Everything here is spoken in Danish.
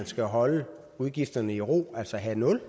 skal holde udgifterne i ro altså have nul